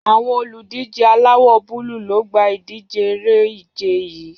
Àwọn olùdíje aláwò :búlù lo gba idije eré ìje yii